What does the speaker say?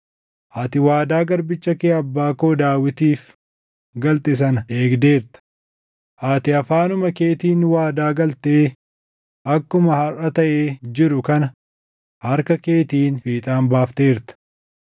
Ati waadaa garbicha kee abbaa koo Daawitiif galte sana eegdeerta; ati afaanuma keetiin waadaa galtee akkuma harʼa taʼee jiru kana harka keetiin fiixaan baafteerta.